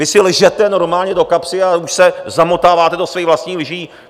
Vy si lžete normálně do kapsy a už se zamotáváte do svých vlastních lží.